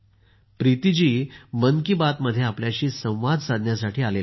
प्रीती जी मन की बात मध्ये आपल्याशी संवाद साधण्यासाठी आल्या आहेत